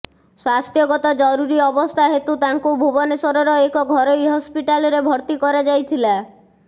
ସ୍ବାସ୍ଥ୍ୟଗତ ଜରୁରୀ ଅବସ୍ଥା ହେତୁ ତାଙ୍କୁ ଭୁବନେଶ୍ବରର ଏକ ଘରୋଇ ହସ୍ପିଟାଲ୍ରେ ଭର୍ତ୍ତି କରାଯାଇଥିଲା